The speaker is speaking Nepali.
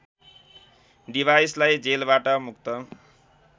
डिभाइसलाई जेलबाट मुक्त